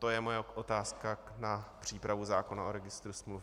To je moje otázka na přípravu zákona o registru smluv.